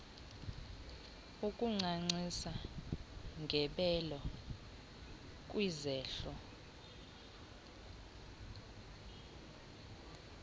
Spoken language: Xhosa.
ukuncancisa ngebele kwizehlo